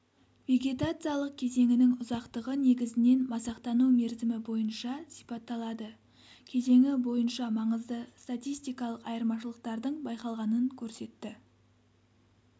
вегетациялық кезеңінің ұзақтығы негізінен масақтану мерзімі бойынша сипатталады кезеңі бойынша маңызды статистикалық айырмашылықтардың байқалғанын көрсетті